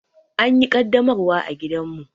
An yi ƙaddamarwar a gidanmu.